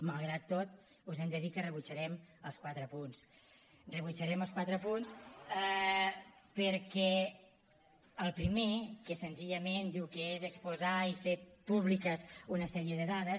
malgrat tot us hem de dir que rebutjarem els quatre punts rebutjarem els quatre punts perquè el primer que senzillament diu que és exposar i fer públiques una sèrie de dades